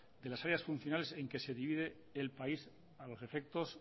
de las áreas funcionales en que se dividen el país a los efectos